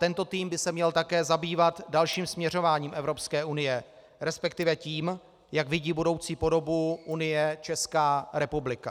Tento tým by se měl také zabývat dalším směřováním Evropské unie, respektive tím, jak vidí budoucí podobu Unie Česká republika.